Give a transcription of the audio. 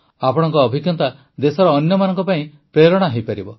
ଆପଣଙ୍କ ଅଭିଜ୍ଞତା ଦେଶର ଅନ୍ୟମାନଙ୍କ ପାଇଁ ପ୍ରେରଣା ହୋଇପାରିବ